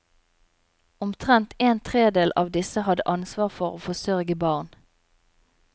Omtrent en tredel av disse hadde ansvar for å forsørge barn.